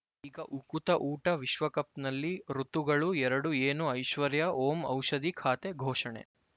ಈಗ ಉಕುತ ಊಟ ವಿಶ್ವಕಪ್‌ನಲ್ಲಿ ಋತುಗಳು ಎರಡು ಏನು ಐಶ್ವರ್ಯಾ ಓಂ ಔಷಧಿ ಖಾತೆ ಘೋಷಣೆ